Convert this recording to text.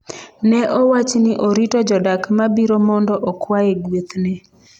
Ne owach ni orito jodak ma biro mondo okwaye guethne.